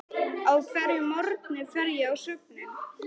Á hverjum morgni fer ég á söfnin.